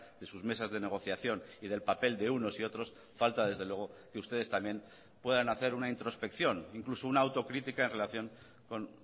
de sus mesas de negociación y del papel de unos y otros falta desde luego que ustedes también puedan hacer una introspección incluso una autocrítica en relación con